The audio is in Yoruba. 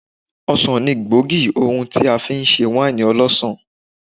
Ọsàn ni gbòógì ohun tí a fi ṣe wáìnì ọlọ́sàn.